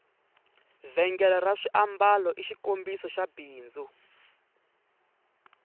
vhengele ra swiambalo i xikombiso xa bindzu